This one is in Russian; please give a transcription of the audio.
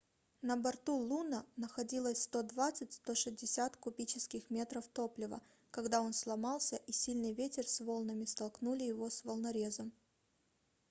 на борту луно находилось 120-160 кубических метров топлива когда он сломался и сильный ветер c волнами столкнули его с волнорезом